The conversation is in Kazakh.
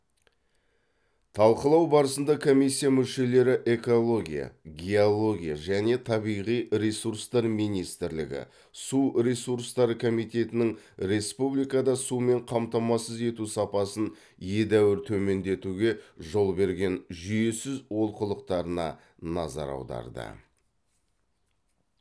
талқылау барысында комиссия мүшелері экология геология және табиғи ресурстар министрлігі су ресурстары комитетінің республикада сумен қамтамасыз ету сапасын едәуір төмендетуге жол берген жүйесіз олқылықтарына назар аударды